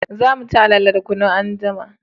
Za mu ci alale da kunu anjima